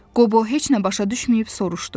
Qobo heç nə başa düşməyib soruşdu.